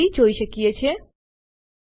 આગળ વધવા પેહલા ચાલો સ્ક્રીન સાફ કરીએ